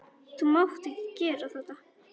Þú mátt ekki gera þetta.